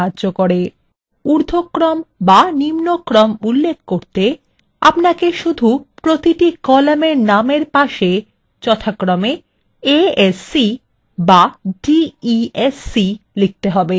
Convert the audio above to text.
এবং উর্ধক্রম বা নিম্নক্রম উল্লেখ করতে আপনাকে শুধু প্রতিটি কলামের নামের পাশে a s c বা d e s c লিখতে হবে